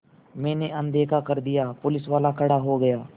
मैंने अनदेखा कर दिया पुलिसवाला खड़ा हो गया